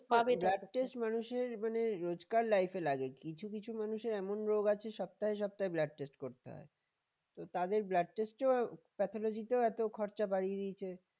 মানুষের রোজকার life এ লাগে কিছু কিছু মানুষের এমন রোগ আছে যে সপ্তাহে সপ্তাহে blood test করতে হয় তো তাদের blood test ও pathology এত খরচা বাড়িয়ে দিয়েছে